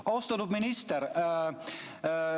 Austatud minister!